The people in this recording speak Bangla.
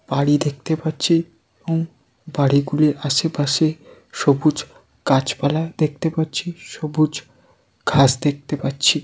বাড়ি দেখতে পাচ্ছি এবং বাড়িগুলির আশেপাশে সবুজ গাছপালা দেখতে পাচ্ছি। সবুজ ঘাস দেখতে পাচ্ছি ।